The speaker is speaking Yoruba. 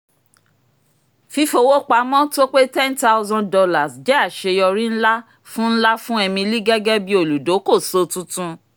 fífowópamọ́ tó pé ten thousand jẹ́ àṣeyọrí ńlá fún ńlá fún emily gẹ́gẹ́ bí olùdókòso tuntun